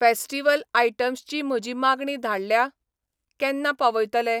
Festival items ची म्हजी मागणी धाडल्या? केन्ना पावयतले?